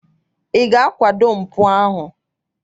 Ị ga-akwado mpụ ahụ?